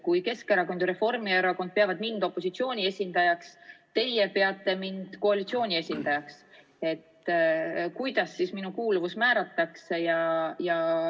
Kui Keskerakond ja Reformierakond peavad mind opositsiooni esindajaks, aga teie peate mind koalitsiooni esindajaks, siis kuidas minu kuuluvus määratakse?